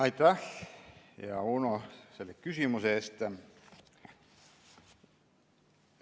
Aitäh, hea Uno, selle küsimuse eest!